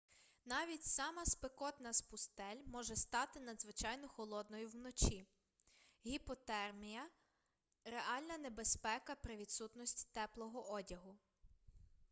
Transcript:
навіть сама спекотна з пустель може стати надзвичайно холодною вночі гіпотермія реальна небезпека при відсутності теплого одягу